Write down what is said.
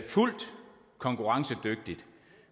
fuldt konkurrencedygtigt